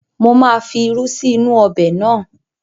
Mo máa fi irú sí inú-u ọbẹ̀ náà